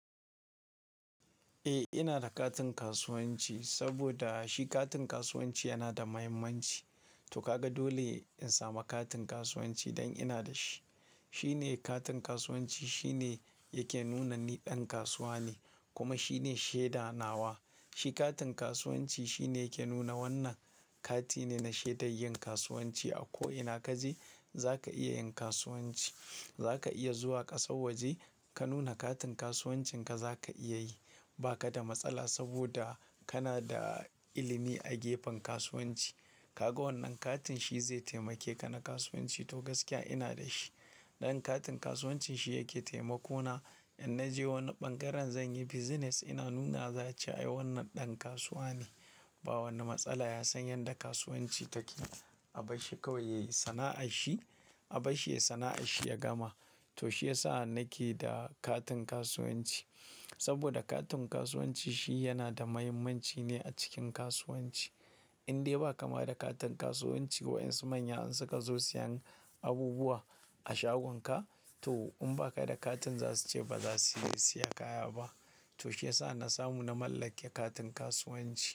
Eh, ina da katin kasuwanci saboda shi katin kasuwanci yana da mahimmanci. To ka ga dole in samu katin kasuwanci don ina da shi. Shi ne katin kasuwanci shi ne yake nuna ni ɗan kasuwa ne kuma shi ne shaida nawa. Shi katin kasuwanci shi ne yake nuna wannan kati ne na shaidar yin kasuwanci a ko ina ka je za ka iya yin kasuwanci. Za ka iya zuwa ƙasar waje ka nuna katin kasuwancinka za ka iya yi ba ka da matsala saboda kana da ilimi a gefen kasuwanci. Ka ga wannan katin shi zai taimake ka na kasuwanci to gaskiya ina da shi. Dan katin kasuwancin shi yake taimako na in naje wani ɓangaren zan yi business ina nunawa za'a ce ai wannan ɗan kasuwa ne. Ba wani matsala ya san yanda kasuwanci take. Abashi kawai yai sana'a shi abashi yai sana'a shi ya gama. To shi ya sa nake da katin kasuwanci. Saboda katin kasuwanci shi yana da mahimmanci ne a cikin kasuwanci. Indai ba kama da katin kasuwanci wayen su manya in suka zo siyan abubuwa a shagon ka to in ba ka da katin za su ce ba za su siya kaya ba. To shi ya sa na samu na mallake katin kasuwanci.